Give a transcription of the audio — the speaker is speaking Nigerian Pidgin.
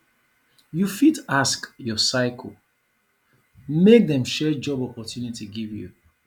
you fit ask your circle make dem share job opportunity give you